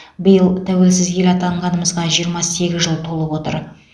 биыл тәуелсіз ел атанғанымызға жиырма сегіз жыл толып отыр